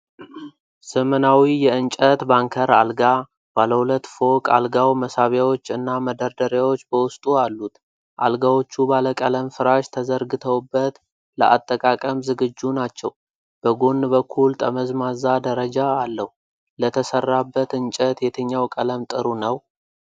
ዘመናዊ የእንጨት ባንከር አልጋ። ባለ ሁለት ፎቅ አልጋው መሳቢያዎች እና መደርደሪያዎች በውስጡ አሉት። አልጋዎቹ ባለ ቀለም ፍራሽ ተዘርግተውበት ለአጠቃቀም ዝግጁ ናቸው። በጎን በኩል ጠመዝማዛ ደረጃ አለው። ለተሰራበት እንጨት የትኛው ቀለም ጥሩ ነው?